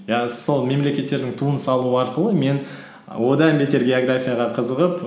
иә сол мемлекеттердің туын салу арқылы мен і одан бетер географияға қызығып